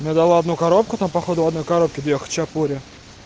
забрала одну коробку там походу в одной коробке две хачапури